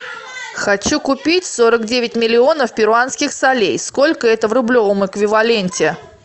хочу купить сорок девять миллионов перуанских солей сколько это в рублевом эквиваленте